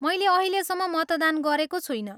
मैले अहिलेसम्म मतदान गरेको छुइनँ।